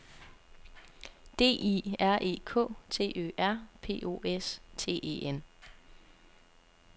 D I R E K T Ø R P O S T E N